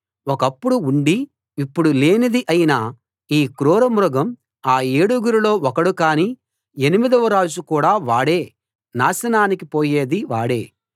ఒకప్పుడు ఉండి ఇప్పుడు లేనిది అయిన ఈ క్రూరమృగం ఆ ఏడుగురిలో ఒకడు కానీ ఎనిమిదవ రాజు కూడా వాడే నాశనానికి పోయేదీ వాడే